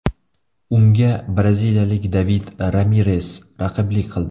Unga braziliyalik David Ramires raqiblik qildi.